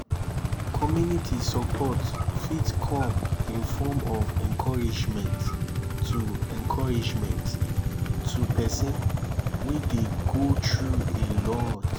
community support fit come in form of encouragement to encouragement to person wey dey go through a lot